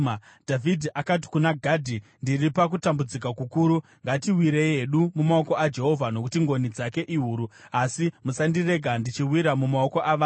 Dhavhidhi akati kuna Gadhi, “Ndiri pakutambudzika kukuru. Ngatiwirei hedu mumaoko aJehovha, nokuti ngoni dzake ihuru; asi musandirega ndichiwira mumaoko avanhu.”